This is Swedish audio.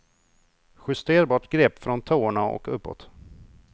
Justerbart grepp från tårna och uppåt.